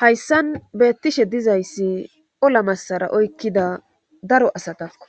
Hayssan beettishe dizayssi ola massara oykkida daro asatakko